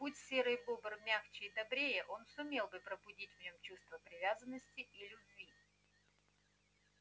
будь серый бобр мягче и добрее он сумел бы пробудить в нём чувство привязанности и любви